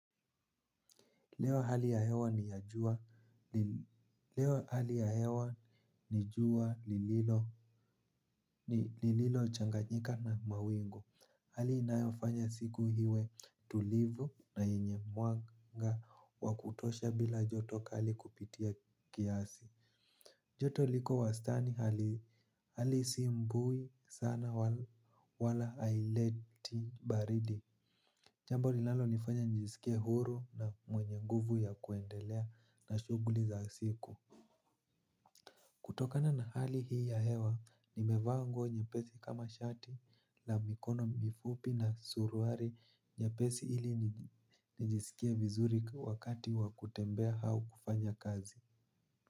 Leo hali ya hewa ni jua lililochanganyika na mawingu. Hali inayofanya siku iwe tulivu na yenye mwanga wa kutosha bila joto kali kupitia kiasi. Joto liko wastani hali si mbui sana wala haileti baridi. Jambo linalonifanya nisikie huru na mwenye nguvu ya kuendelea na shughuli za siku. Kutokana na hali hii ya hewa, nimevaa nguo nyepesi kama shati na mikono mifupi na suruali nyepesi ili nijisikie vizuri wakati wa kutembea au kufanya kazi.